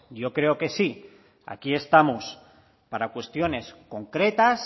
yo creo que sí aquí estamos para cuestiones concretas